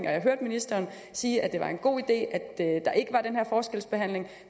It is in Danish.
at jeg hørte ministeren sige at det var en god idé der ikke